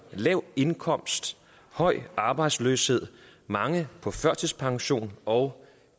lav indkomst høj arbejdsløshed mange på førtidspension og